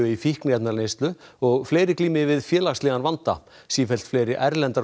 í fíkniefnaneyslu og fleiri glíma við félagslegan vanda sífellt fleiri erlendar